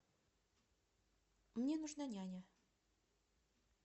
мне нужна няня